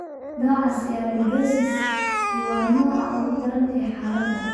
Nooca Sialidosis I waa nooca ugu daran ee xaaladdan.